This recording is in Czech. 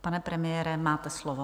Pane premiére, máte slovo.